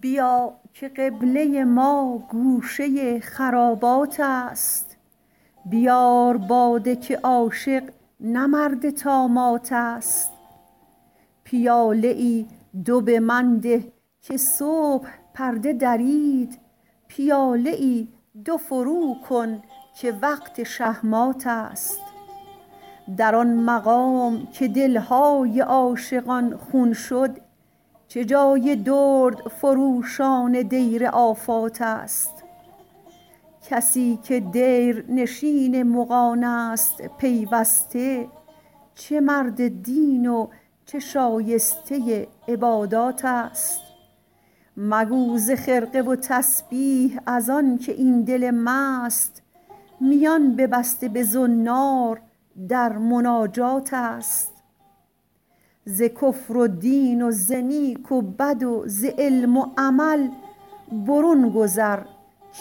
بیا که قبله ما گوشه خرابات است بیار باده که عاشق نه مرد طامات است پیاله ای دو به من ده که صبح پرده درید پیاده ای دو فرو کن که وقت شه مات است در آن مقام که دلهای عاشقان خون شد چه جای دردفروشان دیر آفات است کسی که دیرنشین مغانست پیوسته چه مرد دین و چه شایسته عبادات است مگو ز خرقه و تسبیح ازانکه این دل مست میان ببسته به زنار در مناجات است ز کفر و دین و ز نیک و بد و ز علم و عمل برون گذر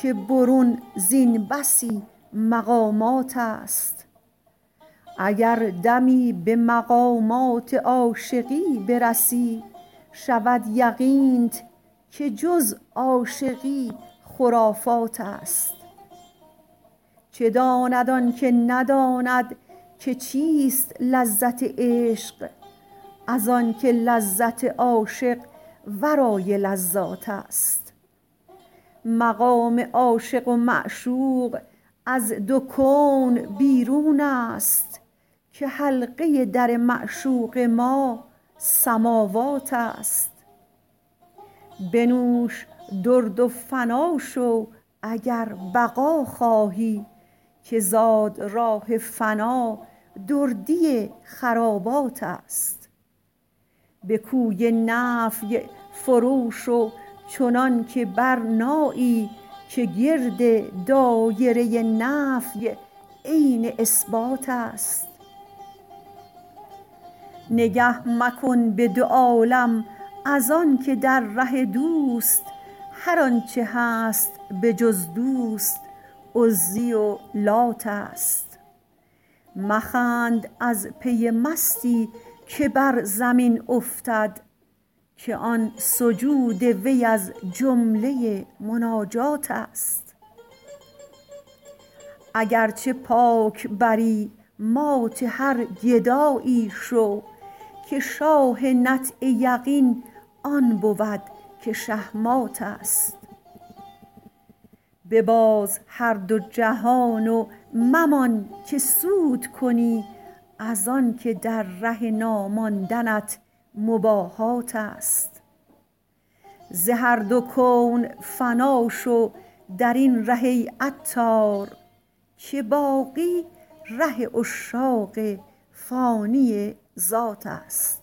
که برون زین بسی مقامات است اگر دمی به مقامات عاشقی برسی شود یقینت که جز عاشقی خرافات است چه داند آنکه نداند که چیست لذت عشق از آنکه لذت عاشق ورای لذات است مقام عاشق و معشوق از دو کون بیرون است که حلقه در معشوق ما سماوات است بنوش درد و فنا شو اگر بقا خواهی که زادراه فنا دردی خرابات است به کوی نفی فرو شو چنان که برنایی که گرد دایره نفی عین اثبات است نگه مکن به دو عالم از آنکه در ره دوست هر آنچه هست به جز دوست عزی و لات است مخند از پی مستی که بر زمین افتد که آن سجود وی از جمله مناجات است اگرچه پاک بری مات هر گدایی شو که شاه نطع یقین آن بود که شه مات است بباز هر دو جهان و ممان که سود کنی از آنکه در ره ناماندنت مباهات است ز هر دو کون فنا شو درین ره ای عطار که باقی ره عشاق فانی ذات است